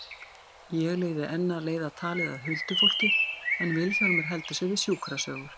Ég reyni enn að leiða talið að huldufólki en Vilhjálmur heldur sig við sjúkrasögur.